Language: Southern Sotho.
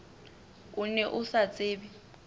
o ne o sa tsebe